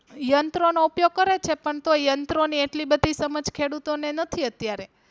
યંત્રો નો ઉપયોગ કરે છે પણ તોય યંત્રો ની એટલી બધી સમજ ખેડૂતો ને નથી અત્યારે.